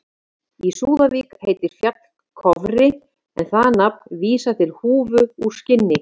Í Súðavík heitir fjall Kofri en það nafn vísar til húfu úr skinni.